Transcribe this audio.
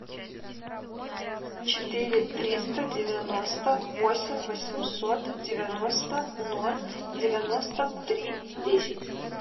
четыре триста девяносто восемь восемьсот девяносто ноль девяносто три десять